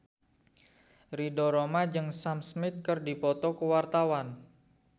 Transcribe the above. Ridho Roma jeung Sam Smith keur dipoto ku wartawan